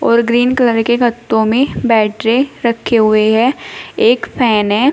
और green colour के गत्तो में बैटरे रखे हुए हैं और एक फैन है।